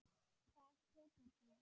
Hvað tekur þú?